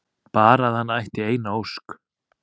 Bara að hann ætti eina ósk!